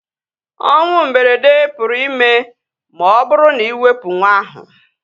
Onwụ mberede pụrụ ime ma ọ bụrụ na iwepu nwa ahu